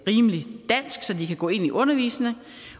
rimelig dansk så de kan gå ind i undervisningen